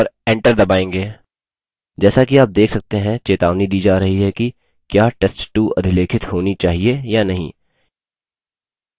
जैसा कि आप देख सकते हैं चेतावनी दी जा रही है कि क्या test2 अधिलेखित होनी चाहिए या नहीं